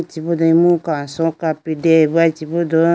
chibudo imu kaso kapri deyayi bo aye chibudo.